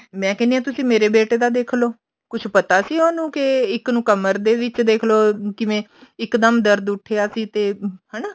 ਮੈਂ ਕਹਿੰਦੀ ਆ ਤੁਸੀਂ ਮੇਰੇ ਬੇਟੇ ਦਾ ਦੇਖਲੋ ਕੁੱਛ ਪਤਾ ਸੀ ਉਹਨੂੰ ਕੇ ਇੱਕ ਨੂੰ ਕਮਰ ਦੇ ਵਿੱਚ ਦੇਖਲੋ ਕਿਵੇਂ ਇੱਕ ਦਮ ਦਰਦ ਉੱਠਿਆ ਸੀ ਤੇ ਹਨਾ